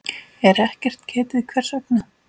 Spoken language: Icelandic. er ekkert getið hvers vegna.